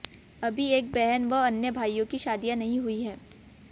अभी एक बहन व अन्य भाईयों की शादी नहीं हुई हैं